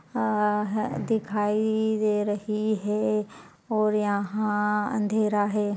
आ--ह-दिखाई दे रही है और यहाँ अंधेरा है।